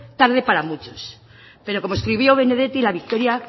tarde para muchos pero como escribió benedetti la victoria